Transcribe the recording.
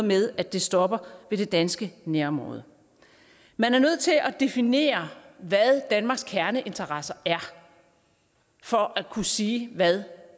med at det stopper ved det danske nærområde man er nødt til at definere hvad danmarks kerneinteresser er for at kunne sige hvad